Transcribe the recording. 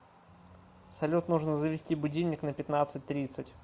салют нужно завести будильник на пятнадцать тридцать